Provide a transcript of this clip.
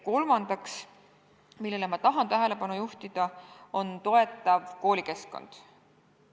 Kolmas teema, millele ma tahan tähelepanu juhtida, on toetav koolikeskkond.